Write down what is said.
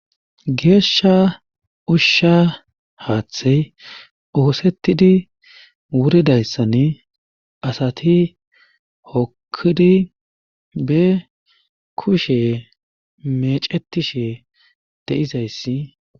Geesha ushsha haathey oosettidi wuridayssani asati hokkidi be kushe meecettishe de7izayssi.